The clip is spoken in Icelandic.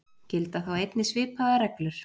Gilda þá einnig svipaðar reglur.